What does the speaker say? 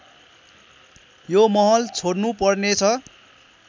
यो महल छोड्नुपर्नेछ